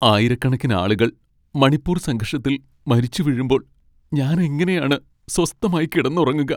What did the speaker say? ആയിരക്കണക്കിന് ആളുകൾ മണിപ്പൂർ സംഘർഷത്തിൽ മരിച്ച് വീഴുമ്പോൾ ഞാനെങ്ങനെയാണ് സ്വസ്ഥമായി കിടന്നുറങ്ങുക?